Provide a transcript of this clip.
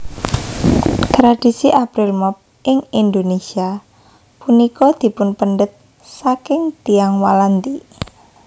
Tradhisi April Mop ing Indonésia punika dipunpendhet saking Tiyang Walandi